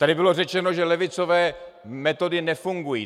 Tady bylo řečeno, že levicové metody nefungují.